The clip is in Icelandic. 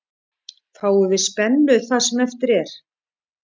Fáum við spennu það sem eftir er.